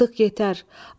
Artıq yetər.